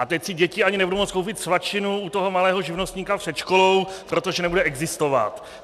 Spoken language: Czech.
A teď si děti ani nebudou moct koupit svačinu u toho malého živnostníka před školou, protože nebude existovat.